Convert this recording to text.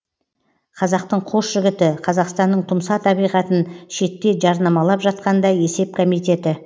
қазақтың қос жігіті қазақстанның тұмса табиғатын шетте жарнамалап жатқанда есеп комитеті